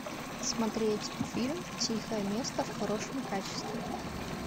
смотреть фильм тихое место в хорошем качестве